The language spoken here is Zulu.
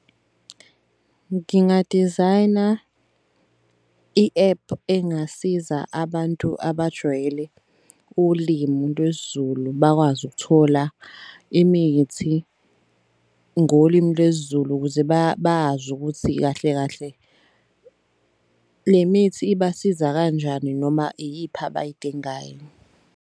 Nginga-design-a i-app engasiza abantu abajwayele ulimu lwesiZulu bakwazi ukuthola imithi ngolimu lwesiZulu ukuze bazi ukuthi kahle kahle le mithi ibasiza kanjani noma iyiphi abayidingayo.